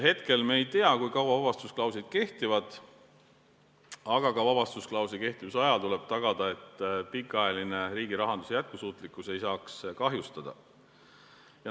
Hetkel me ei tea, kui kaua vabastusklausel kehtib, aga ka vabastusklausli kehtivuse ajal tuleb tagada, et pikaajaline riigirahanduse jätkusuutlikkus ei saaks kahjustada.